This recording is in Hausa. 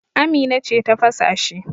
Amina ce ta fasa shi.